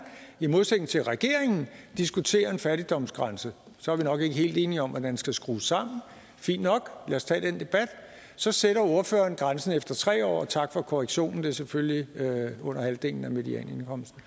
i modsætning til regeringen diskutere en fattigdomsgrænse så er vi nok ikke helt enige om hvordan den skal skrues sammen fint nok lad os tage den debat og så sætter ordføreren grænsen efter tre år og tak for korrektionen det er selvfølgelig under halvdelen af medianindkomsten